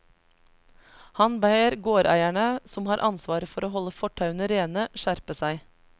Han ber gårdeierne, som har ansvar for å holde fortauene rene, skjerpe seg.